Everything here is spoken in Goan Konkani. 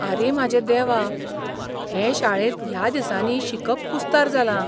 आरे म्हाजे देवा, हे शाळेंत ह्या दिसांनी शिकप कुस्तार जालां.